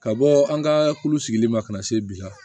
Ka bɔ an ka kulu sigili ma ka na se bi ma